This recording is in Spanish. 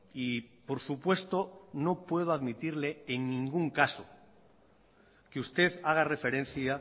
y por supuesto no puedo admitirle en ningún caso que usted haga referencia